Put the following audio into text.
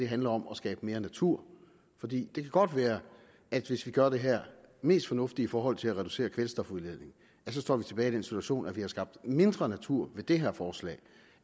handler om at skabe mere natur for det kan godt være at hvis vi gør det her mest fornuftigt i forhold til at reducere kvælstofudledningen står vi tilbage i den situation at vi har skabt mindre natur ved det her forslag